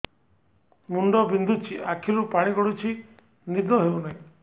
ମୁଣ୍ଡ ବିନ୍ଧୁଛି ଆଖିରୁ ପାଣି ଗଡୁଛି ନିଦ ହେଉନାହିଁ